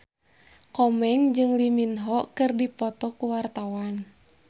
Komeng jeung Lee Min Ho keur dipoto ku wartawan